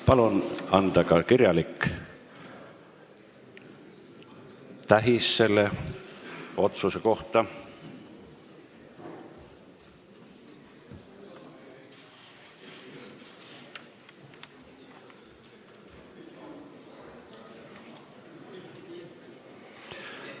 Palun anda ka kirjalik tähis selle otsuse kohta!